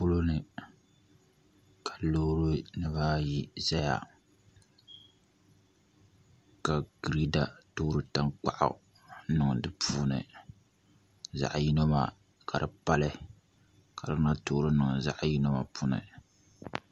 Polo ni ka loori nim ayi ʒɛya ka girɛda toori tankpaɣu niŋdi di puuni zaɣ yino maa ka di pali ka bi lahi toori niŋdi zaɣ yino puuni